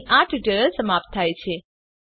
અહીં આ ટ્યુટોરીયલ સમાપ્ત થાય છે